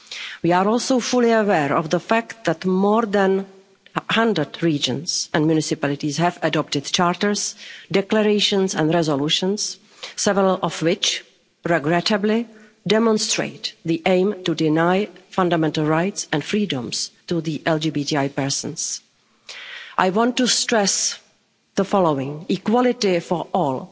We are also fully aware of the fact that more than a hundred regions and municipalities have adopted charters, declarations and resolutions, several of which regrettably demonstrate the aim to deny fundamental rights and freedoms to LGBTI people. I want to stress the following equality for